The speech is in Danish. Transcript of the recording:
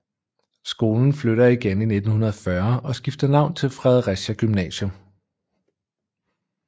Skolen flytter igen i 1940 og skifter navn til Fredericia Gymnasium